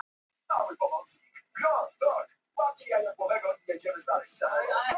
Þau hlógu og föðmuðust.